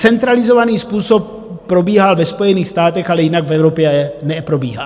Centralizovaný způsob probíhal ve Spojených státech, ale jinak v Evropě neprobíhá.